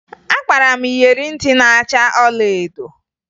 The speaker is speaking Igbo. Akpara m iyeri ntị na-acha ọlaedo